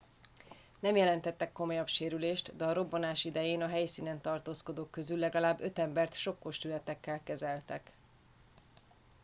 nem jelentettek komolyabb sérülést de a robbanás idején a helyszínen tartózkodók közül legalább öt embert sokkos tünetekkel kezeltek